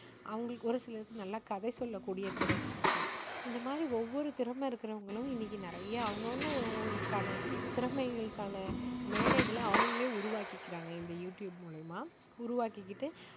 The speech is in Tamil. அவங்களுக்கு ஒரு சிலருக்கு நல்லா கதை சொல்லக்கூடிய திறன் இருக்கும். இந்த மாதிரி ஒவ்வொரு திறமை இருக்குறவங்களும் இன்னைக்கு நிறைய அவங்கவங்க அவங்கவங்கான திறமைகளுக்கான மேடைகளை அவங்களே உருவாக்கிக்கறாங்க இந்த யூ டியூப் மூலியமா உருவாக்கிக்கிட்டு